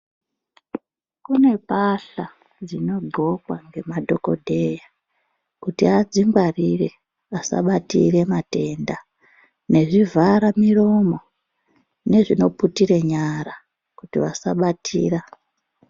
Kune mbahla dzinogokwa nemadhokodheya kuti adzingwarire asabatira matenda nezvivhara muromo nezvinoputira nyara kuti vasabatira.